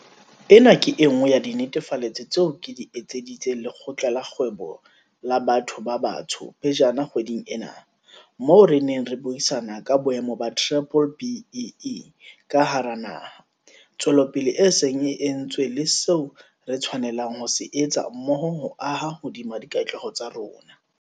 Ena ke e nngwe ya dinetefaletso tseo ke di etseditseng Lekgotla la Kgwebo la Batho ba Batsho pejana kgweding ena, moo re neng re buisana ka boemo ba B-BBEE ka hara naha, tswelopele e seng e entswe le seo re tshwanelang ho se etsa mmoho ho aha hodima dikatleho tsa rona.